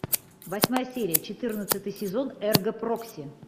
восьмая серия четырнадцатый сезон эрго прокси